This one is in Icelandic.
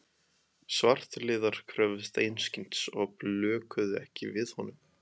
Svartliðar kröfðust einskis og blökuðu ekki við honum.